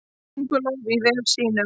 Könguló í vef sínum.